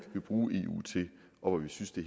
vil bruge eu til og hvor vi synes det